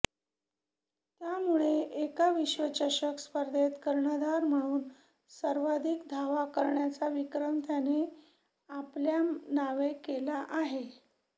यामुळे एका विश्वचषक स्पर्धेत कर्णधार म्हणून सर्वाधिक धावा करण्याचा विक्रम त्याने आपल्या नावे केला आहे